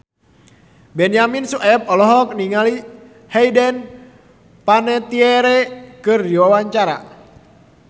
Benyamin Sueb olohok ningali Hayden Panettiere keur diwawancara